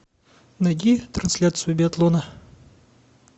найди трансляцию биатлона